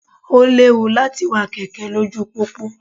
Ó léwu láti wa kẹ̀kẹ́ lójú pópó.